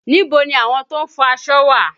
Níbo ni àwọn tó ń fọ aṣọ wà?